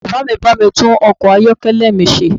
Bàbá mi bá mi tún ọkọ̀ ayọ́kẹ́lẹ̀ mi ṣe